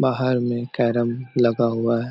बाहर मे कैरम लगा हुआ--